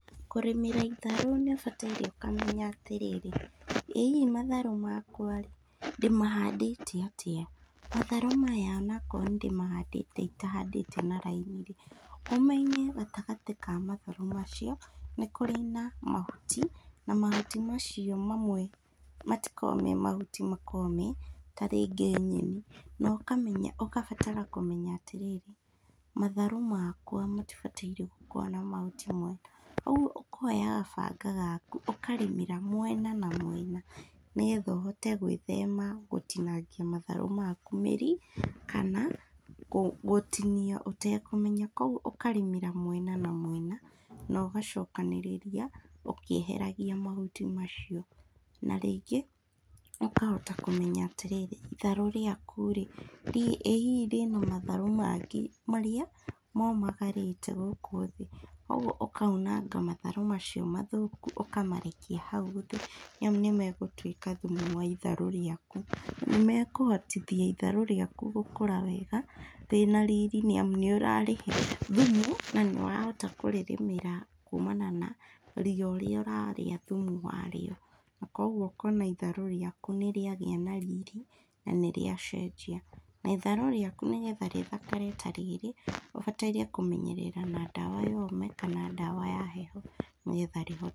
Kũrĩmĩra itharũ nĩũbataire ũkamenya atĩrĩrĩ, ĩhihi matharũ makwa rĩ, ndĩmahandĩte atĩa, matharũ maya onakorwo nĩndĩmahandĩte itahandĩte na raini rĩ, ũmenye gatagatĩ ka matharũ macio, nĩkũrĩ na mahuti, na mahuti macio mamwe matikoragwo me mahuti mako me tarĩngĩ nyeni, no kameneya, ũgabatara kũmenya atĩrĩrĩ, matharũ makwa matibatire gũkorwo na mahuti mau, ũguo ũkoyaga banga gaku ũkarĩmĩra mwena na mwena, nĩgetha ũhote gwĩthema gũtinangia matharũ maku mĩri, kana gũtinia ũtekũmenya, koguo ũkarĩmĩra mwena na mwena, nogacokanĩrĩria ũkĩeheragia mahuti macio, na rĩngĩ, ũkahota kũmenya atĩrĩrĩ, itharũ rĩaku rĩ, ĩhihi rĩana matharũ mangĩ marĩa momagarĩte gũkũ thĩ, ũguo ũkaunanga matharũ macio mathũku ũkamarekia hau thĩ nĩamu nĩmegũtwĩka thumu wa itharũ rĩaku, nĩmekũhotithia itharũ rĩaku gũkũra wega, rĩna riri nĩamu nĩũrĩhe thumu, na nĩwahota kũrĩrĩmĩra kumana na ria ũrĩa ũrarĩa thumu warĩo, na koguo ũkona itharũ rĩaku nĩrĩagĩa na riri, na nĩrĩa cenjia, na itharũ rĩaku nĩgetha rĩthakare ta rĩrĩ, ũbataire kũmenyerera na ndawa ya ũme kana ndawa ya hehe nĩgetha rĩhone.